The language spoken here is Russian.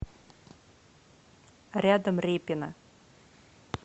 рядом репино